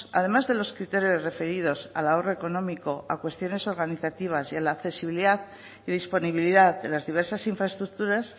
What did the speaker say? además de los criterios referidos al ahorro económico a cuestiones organizativas y a la accesibilidad y disponibilidad de las diversas infraestructuras